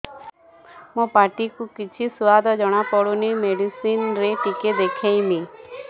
ମୋ ପାଟି କୁ କିଛି ସୁଆଦ ଜଣାପଡ଼ୁନି ମେଡିସିନ ରେ ଟିକେ ଦେଖେଇମି